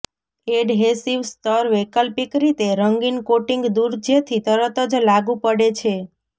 adhesive સ્તર વૈકલ્પિક રીતે રંગીન કોટિંગ દૂર જેથી તરત જ લાગુ પડે છે